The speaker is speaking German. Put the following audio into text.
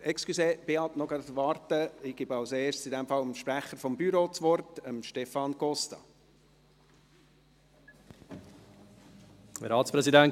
In diesem Fall gebe ich zuerst dem Sprecher des Büros, Stefan Costa, das Wort.